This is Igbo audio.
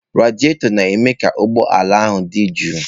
Radịatọ na-eme ka ụgbọ ala ahụ dị jụụ.